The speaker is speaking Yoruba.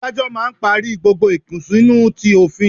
Adájọ́ máà ń parí gbogbo ìkùnsínú ti òfin